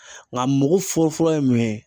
Nka mago fɔlɔfɔlɔ ye mun ye?